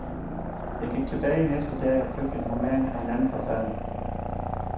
Jeg gik tilbage næste dag og købte en roman af en anden forfatter.